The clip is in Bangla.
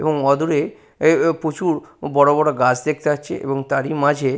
এবং অদূরে এ এ প্রচুর বড় বড় গাছ দেখতে পাচ্ছি এবং তারই মাঝে--